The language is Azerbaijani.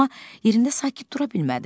Amma yerində sakit dura bilmədi.